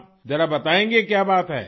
ذرا بتائیں گی کہ کیا با ت ہے؟